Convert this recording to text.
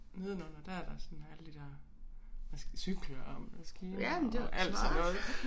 Nedenunder der er der sådan alle de der cykler og maskiner og alt sådan noget